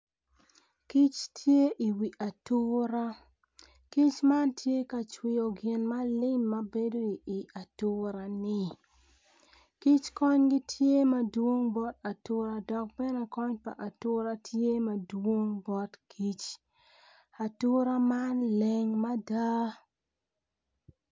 Kic tye iwi atura kic man tye ka cwiyo gin ma lim ma bedo i atireni kic konygi tye madwong bot atura dok bene kony pa atura tye madong bot kic atura man leng mada.